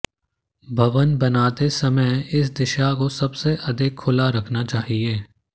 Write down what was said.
भवन बनाते समय इस दिशा को सबसे अधिक खुला रखना चाहिए